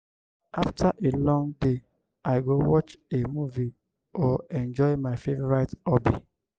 after a long day i go watch a movie or enjoy my favorite hobby.